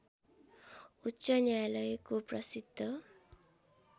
उच्च न्यायालयको प्रसिद्ध